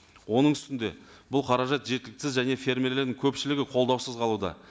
оның үстінде бұл қаражат жеткіліксіз және фермерлердің көпшілігі қолдаусыз қалуда